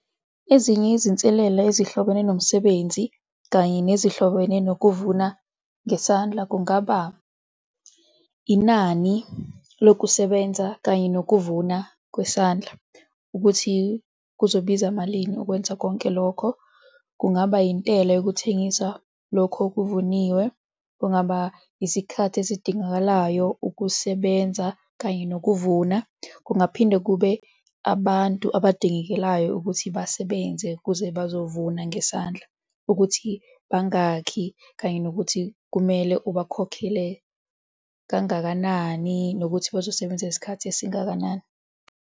Ezinye izinselela ezihlobene nomsebenzi kanye nezihlobene nokuvuna ngesandla kungaba, inani lokusebenza kanye nokuvuna kwesandla, ukuthi kuzobiza malini ukwenza konke lokho, kungaba intela yokuthengisa lokho okuvuniwe, kungaba isikhathi esidingakalayo ukusebenza kanye nokuvuna. Kungaphinde kube abantu abadingekalayo ukuthi basebenze ukuze bazovuma ngesandla, ukuthi bangakhi kanye nokuthi kumele ubakhokhele kangakanani, nokuthi bazosebenza isikhathi esingakanani.